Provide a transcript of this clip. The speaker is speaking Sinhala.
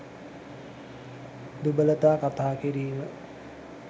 දුබලතා කතා කිරීම